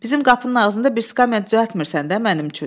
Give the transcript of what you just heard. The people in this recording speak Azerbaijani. Bizim qapının ağzında bir skamya düzəltmirsən də mənim üçün.